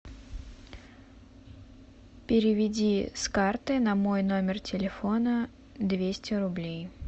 переведи с карты на мой номер телефона двести рублей